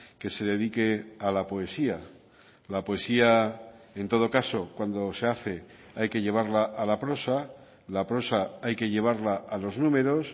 que se dedique a la poesía la poesía en todo caso cuando se hace hay que llevarla a la prosa la prosa hay que llevarla a los números